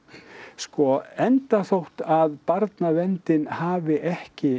sko enda þótt að barnaverndin hafi ekki